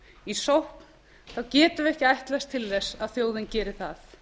í sókn þá getum við ekki ætlast til þess að þjóðin geri það